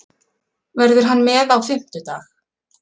Verður hann með á fimmtudag?